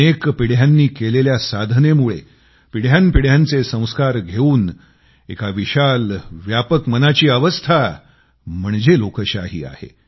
अनेक पिढ्यांनी केलेल्या साधनेमुळे पिढ्यांपिढ्यांचे संस्कार घेवून एका विशाल व्यापक मनाची अवस्था म्हणजे लोकशाही आहे